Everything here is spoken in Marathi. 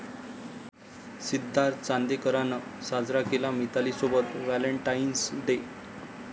सिद्धार्थ चांदेकरनं साजरा केला मितालीसोबत व्हॅलेंटाइन्स डे!